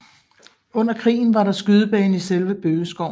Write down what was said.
Under krigen var der skydebane i selve bøgeskoven